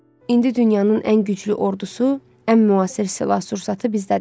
İndi bütün dünyanın ən güclü ordusu, ən müasir silah-sursatı bizdədir.